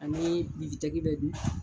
Ani bɛ dun.